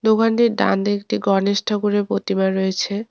দোকানটির ডানদিকে একটি গণেশ ঠাকুরের প্রতিমা রয়েছে।